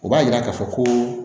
O b'a yira k'a fɔ ko